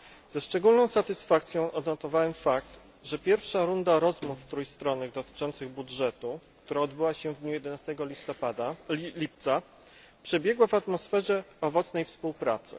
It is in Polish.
Ze szczególną satysfakcją odnotowałem fakt, że pierwsza runda rozmów trójstronnych dotyczących budżetu, która odbyła się w dniu 11 lipca przebiegła w atmosferze owocnej współpracy.